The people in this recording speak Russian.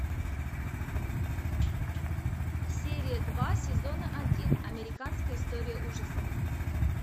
серия два сезона один американская история ужасов